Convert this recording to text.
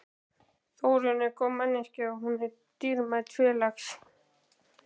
Þórunn er góð manneskja, og hún er dýrmætur félags